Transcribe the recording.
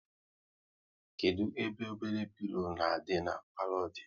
Kedụ ebe obele pilo na adị na palo dị?